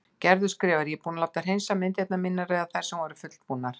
Gerður skrifar: Ég er búin að láta hreinsa myndirnar mínar eða þær sem voru fullbúnar.